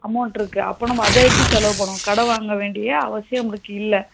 amount இருக்கு அப்போ நம்ம அத எடுத்து செலவு பண்ணுவோம் கட வாங்கவேண்டிய அவசியம் நமளுக்கு இல்ல